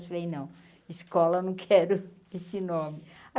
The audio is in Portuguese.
Eu falei, não, escola não quero esse nome.